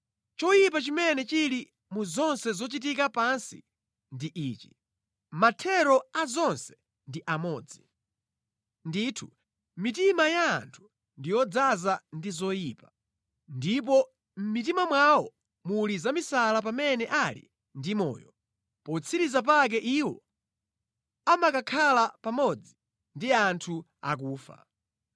Choyipa chimene chili mʼzonse zochitika pansi ndi ichi: Mathero a zonse ndi amodzi. Ndithu, mitima ya anthu ndi yodzaza ndi zoyipa, ndipo mʼmitima mwawo muli zamisala pamene ali ndi moyo, potsiriza pake iwo amakakhala pamodzi ndi anthu akufa.